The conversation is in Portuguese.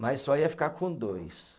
Mas só ia ficar com dois.